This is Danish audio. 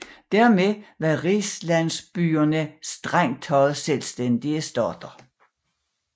Dermed var rigslandsbyerne strengt taget selvstændige stater